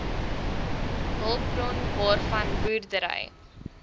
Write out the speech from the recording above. hulpbron waarvan boerdery